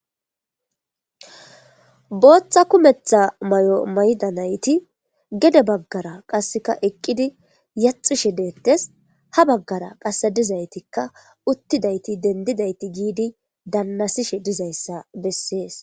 booththa kumetha may7o mayda nayti gede baggara qasseka eqqidi yaxushe deettes ha baggara qasse dizaytikka uttidayti dendidayti giidi dannasishe dizayssa bessees